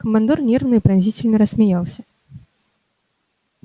командор нервно и пронзительно рассмеялся